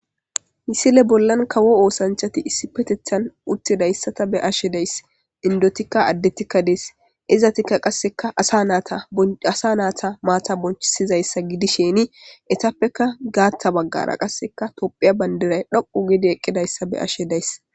Missile bollan kawo oosanchati issi bolla uttidayssa Bea'she dea'so,indotikka, addetita Dee's.izatikka asa nayta matta bonchisizaysa gidishini etappekka gaata bagara tophiyphiyab bandiray dhoqu gidi eqidaysa Bea'she days.